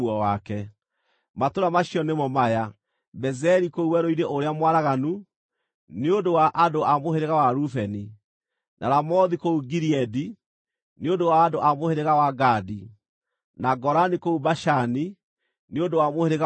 Matũũra macio nĩmo maya: Bezeri kũu werũ-inĩ ũrĩa mwaraganu, nĩ ũndũ wa andũ a mũhĩrĩga wa Rubeni; na Ramothu kũu Gileadi, nĩ ũndũ wa andũ a mũhĩrĩga wa Gadi; na Golani kũu Bashani, nĩ ũndũ wa mũhĩrĩga wa Manase.